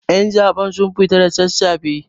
Ƴan zaben sun fita da sassafe